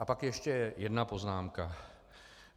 A pak ještě jedna poznámka.